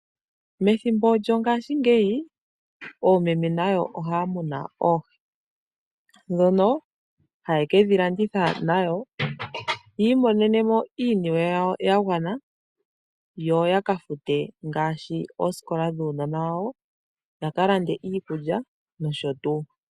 Methimbo lyo ngaashingeyi oomeme nayo ohaya munu oohi, dhono haye kedhi landitha, opo yi imonene iiniwe yawo yagwana yoya kafuta oosikola dhuunona wawo yalande iikulya nosho tuu.